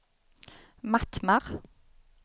Mattmar